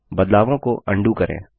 बदलावों को अंडू करें